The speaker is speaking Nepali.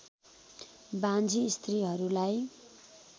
बाँझी स्त्रीहरूलाई